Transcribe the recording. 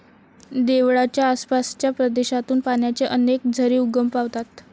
देवळाच्या आसपासच्या प्रदेशातून पाण्याचे अनेक झरे उगम पावतात.